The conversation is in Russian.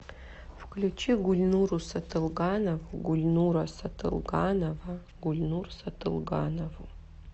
включи гульнуру сатылганову гульнура сатылганова гульнур сатылганову